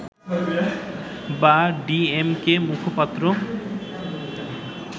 বা D M কে-র মুখপাত্র